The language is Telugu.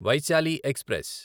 వైశాలి ఎక్స్ప్రెస్